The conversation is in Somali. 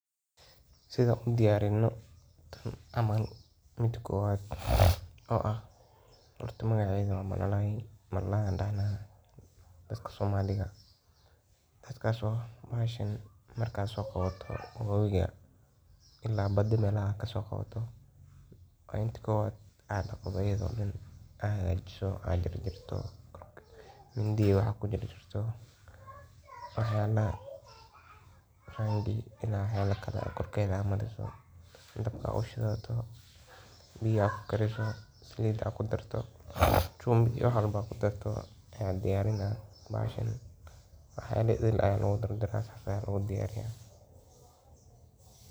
Sidaan u diyarino tan camal marka kowaad ,horta magaceda waxan dahna waa malalay ama kallun. Kalluunka waa xayawaan biyo ku nool ah oo ka tirsan xayawaanka laf-dhabarta leh, waxaana uu ka mid yahay noocyada ugu badan ee noolaha badda, webiyada, harooyinka, iyo xitaa balliyada. Kalluunku wuu kala duwan yahay nooc ahaan, midab ahaan, iyo cabbir ahaan, iyadoo qaar .